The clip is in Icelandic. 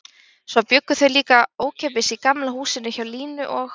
Svo bjuggu þau líka ókeypis í Gamla húsinu hjá Línu og